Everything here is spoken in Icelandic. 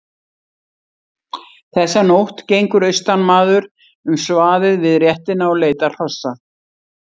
Þessa nótt gengur austanmaður um svaðið við réttina og leitar hrossa.